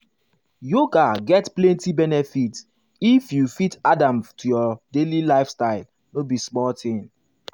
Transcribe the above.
yoga get plenty benefit if you fit add am to your daily lifestyle no be small thing.